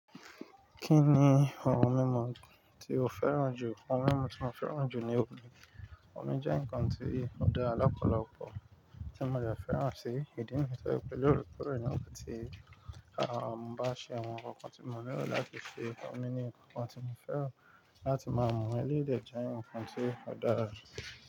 Kí ni àwọn mímu tí o féràn jù? Àwọn mímu tí mo féràn jù ni omi. Omi jẹ́ ǹkan tí òdàra lọ́pọ̀lọpọ̀ tí mo dẹ féràn sí ìdí ni tọ́ je pé lóorekòorẹ ni ti máa ń bá ṣe wọn. Àwọn nkọ ti mo lero latí ṣe omi ni ǹkan tí mo féràn láti máa mú wẹ́lì, eleyii jẹ ǹkan tí òdàra.